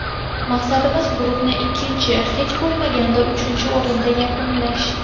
Maqsadimiz guruhni ikkinchi, hech bo‘lmaganda uchinchi o‘rinda yakunlash”.